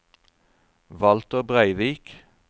Walter Breivik